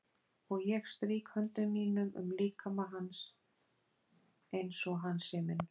Og ég strýk höndum mínum um líkama hans einsog hann sé minn.